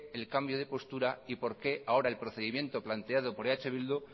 el cambio de postura y por qué ahora el procedimiento planteado por eh bildu